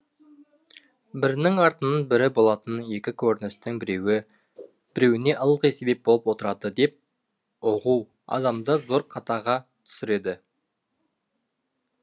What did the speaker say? бірінің артынан бірі болатын екі көріністің біреуі біреуіне ылғи себеп болып отырады деп ұғу адамды зор қатаға түсіреді